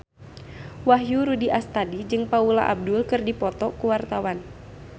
Wahyu Rudi Astadi jeung Paula Abdul keur dipoto ku wartawan